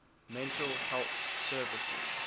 mental health services